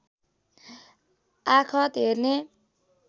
आखत हेर्ने